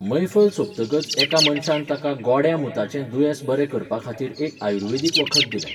मैफल सोंपतकच एका मनशान ताका गोड्या मुताचें दुयेंस बरें करपाखातीर एक आयुर्वैदीक वखद दिलें.